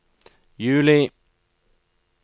juli